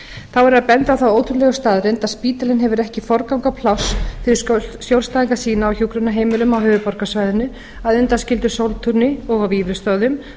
þá verður að benda á þá ótrúlegu staðreynd að spítalinn hefur ekki forgang og pláss fyrir skjólstæðinga sína á hjúkrunarheimilum á höfuðborgarsvæðinu að undanskildu sóltúni og á vífilsstöðum þó